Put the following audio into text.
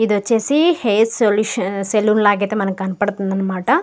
ఇది వచ్చేసి hair solutions salon లాగా అయితే మనకి కనపడుతుంది అనమాట.